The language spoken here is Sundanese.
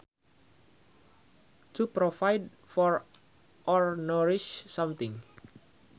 To provide for or nourish something